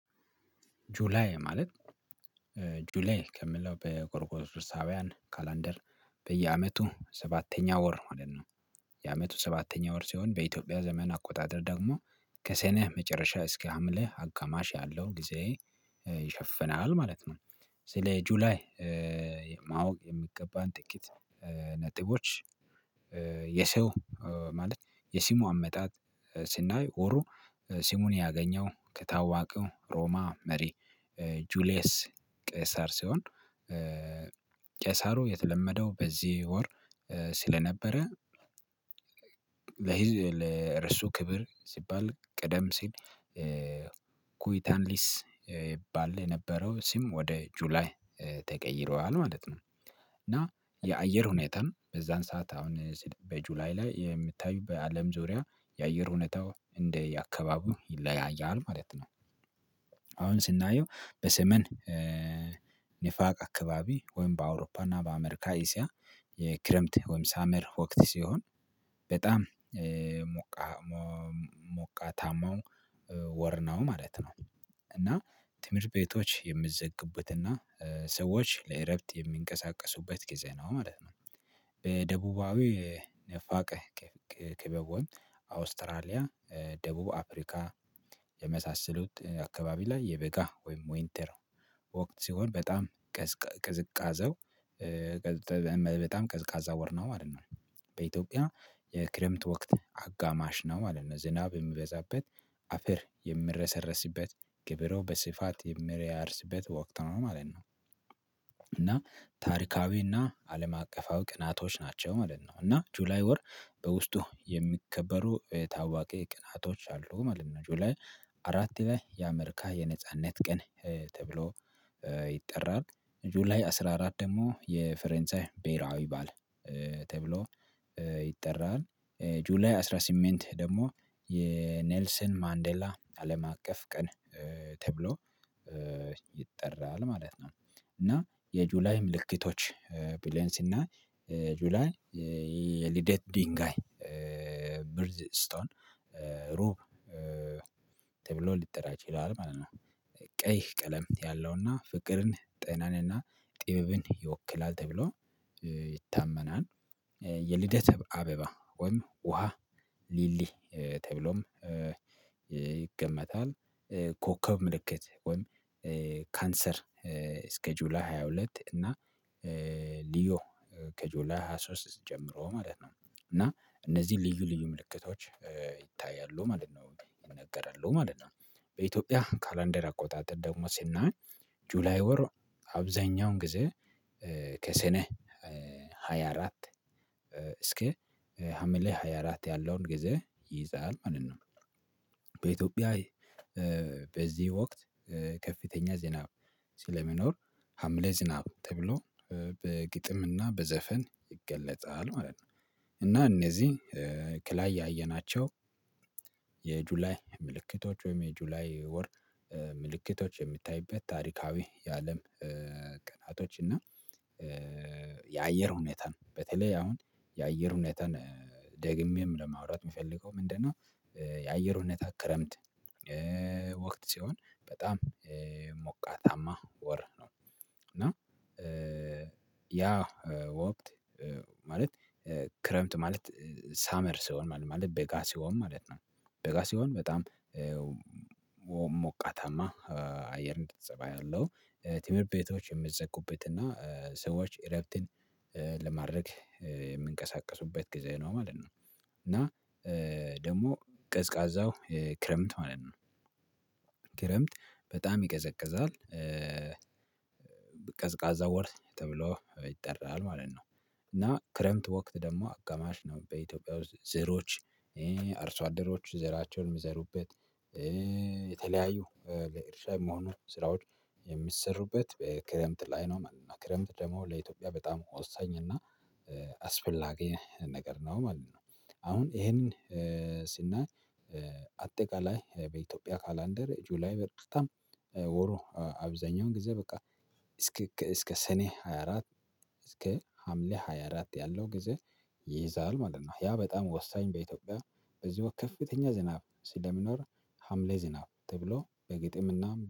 ጁላይ ማለት ጁላይ ከምለው በጎርጎራዊያን ካላንደር በየአመቱ ሰባተኛ ወር ማለት ነው። የአመቱ ሰባተኛ ወር ሲሆን በኢትዮጵያ ዘመን አቆጣጠር ደግሞ ከሰኔ መጨረሻ እስከ ሀምሌ አጋማሽ ያለው ጊዜ ይሸፍናል ማለት ነው። ስለ ጁላይ ማወቅ የሚገባን ጥቂት ነጥቦች። የሰው ማለት የስሙ አመጣጥ ሲናይ ወሩ ስሙን ያገኘው ከታዋቀው ሮማ መሪ ጁሊየስ ቄሳር ሲሆን። ቄሳሩ የተለመደው በዚህ ወር ስለነበረ። ለርሱ ክብር ሲባል ቀደም ሲል ኩይታንዲስ ይባል የነበረው ስም ወደ ጁላይ ተቀይሯል ማለት ነው። እና የአየር ሁኔታም በዛን ሰዓት አሁን በጁላይ ላይ የምታዩ በአለም ዙሪያ የአየር ሁኔታው እንደየ አካባቢው ይለያያል ማለት ነው። አሁን ስናየው በሰሜን ንፋቅ አካባቢ ወይም በአውሮፓ እና በአሜሪካ እስያ የክረምት ወይም ሳመር ወቅት ሲሆን በጣም ሞቃታማው ወር ነው ማለት ነው። እና ትምህርት ቤቶች የሚዘጉበትና ሰዎች ለእረፍት የሚንቀሳቀሱበት ጊዜ ነው ማለት ነው። በደቡባዊ ነፋቀ ክበብ ወይም አውስትራሊያ ደቡብ አፍሪካ የመሳሰሉት አካባቢ ላይ የበጋ ወይም ወይንተር ወቅት ሲሆን በጣም ቅዝቃዜው በጣም ቀዝቃዛ ወር ነው ማለት ነው። በኢትዮጵያ የክረምት ወቅት አጋማሽ ነው ማለት ነው ዝናብ የሚበዛበት አፈር የምረሰረስበት ገበሬው በስፋት የሚያርስበት ወቅት ነው ማለት ነው። እና ታሪካዊና አለም አቀፋዊ ቀናቶች ናቸው ማለት ነው እና ጁላይ ወር በውስጡ የሚከበሩ ታዋቂ ቀናቶች አሉ ማለት ነው። ጁላይ አራት ላይ የአሜርካ የነጻነት ቀን ተብሎ ይጠራል ጁላይ አስራ አራት ደግሞ የፈረንሳይ ብሄራዊ በዓል ተብሎ ይጠራል ጁላይ አስራ ስምንት ደግሞ የኔልስን ማንዴላ አለም አቀፍ ቀን ተብሎ ይጠራል ማለት ነው። እና የጁላይ ምልክቶች ብለን ስናይ ጁላይ የልደት ድንጋይ ብሪጅ ስቶን ሩብ ተብሎ የጠራ ይችላል ማለት ነው። ቀይ ቀለም ያለውና ፍቅርን ጤናንና ጥበብን ይወክላል ተብሎ ይታመናል። የልደት አበባ ወይም ውሃ ሊሊ ተብሎም ኮከብ ምልክት ወይም ካንሰር እስከ ጁላይ ሃያ ሁለት እና ሊዮ ከጆላይ ሃያ ሶስት ጀምሮ ማለት ነው። እና እነዚህ ልዩ ልዩ ምልክቶች ይታያሉ ማለት ነው ይነገራሉ ማለት ነው። በኢትዮጵያ ካላንደር አቆጣጠር ደግሞ ሲናገር ጁላይ ወር አብዛኛውን ጊዜ ከሰኔ ሃያ አራት እስከ ሀምሌ ሃያ አራት ያለውን ጊዜ ይይዛል ማለት ነው። በኢትዮጵያ በዚህ ወቅት ከፍተኛ ዝናብ ስለሚኖር ሀምሌ ዝናብ ተብሎ በግጥምና በዘፈን ይገለጣል ማለት ነው። እና እነዚህ ከላይ ያየናቸው የጁላይ ምልክቶች ወይም የጁላይ ወር ምልክቶች የሚታይበት ታሪካዊ የአለም ቀናቶች እና የአየር ሁኔታን በተለይ አሁን የአየር ሁኔታን ደግሜም ለማውራት የምፈልገው ምንድነው? የአየር ሁኔታ ክረምት ወቅት ሲሆን በጣም ሞቃታማ ወር ነው እና ያ ወቅት ማለት ክረምት ማለት ሳመር ሲሆን ማለት በጋ ሲሆን ማለት ነው። በጋ ሲሆን በጣም ሞቃታማ አየር ፀባይ ያለው ትምህርት ቤቶች የሚዘጉበት እና ሰዎች እረፍትን ለማድረግ የሚንቀሳቀሱበት ጊዜ ነው ማለት ነው። እና ደግሞ ቀዝቃዛው ክረምት ማለት ነው። ክረምት በጣም ይቀዘቅዛል ቀዝቃዛ ወር ተብሎ ይጠራል ማለት ነው። እና ክረምት ወቅት ደግሞ አጋማሽ ነው በኢትዮጵያ ውስጥ ዘሮች አርሶ አደሮች ዘራቸውን የሚዘሩበት የተለያዩ ለእርሻ መሆኑ ስራዎች የሚሰሩበት በክረምት ላይ ነው ማለት ነው። ክረምት ደግሞ ለኢትዮጵያ በጣም ወሳኝ እና አስፈላጊ ነገር ነው ማለት ነው። አሁን ይሄንን ስናይ አጠቃላይ በኢትዮጵያ ካላንደር ጁላይ በጣም ወሩ አብዛኛውን ጊዜ በቃ እስከ ሰኔ ሃያ አራት እስከ ሀምሌ ሃያ አራት ያለው ጊዜ ይይዛል ማለት ነው። ያ በጣም ወሳኝ በኢትዮጵያ በዚህ ወቅት ከፍተኛ ዝናብ ስለሚኖር ሀምሌ ዝናብ ተብሎ በግጥምና